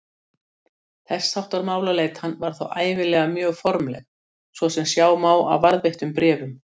Þess háttar málaleitan var þá ævinlega mjög formleg, svo sem sjá má af varðveittum bréfum.